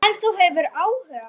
En ef þú hefur áhuga.